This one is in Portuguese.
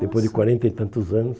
Depois de quarenta e tantos anos...